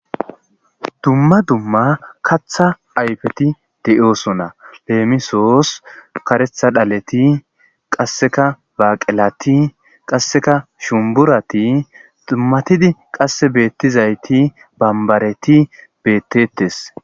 Dumma Dumma Kaththa Ayfeti De'osona Leemisos, Kaaretha Dhaleti Qaseka Baqelati Qaseka Shumburati Dumatidi Qase Beetizayti Bambareti Beetetees